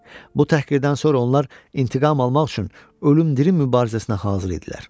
Bu təhqirdən sonra onlar intiqam almaq üçün ölüm dirim mübarizəsinə hazır idilər.